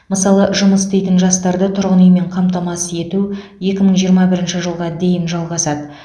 мысалы жұмыс істейтін жастарды тұрғын үймен қамтамасыз ету екі мың жиырма бірінші жылға дейін жалғасады